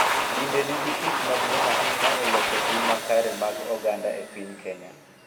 Dinde nigi tich maduong� ahinya e loso tim makare mag oganda e piny Kenya.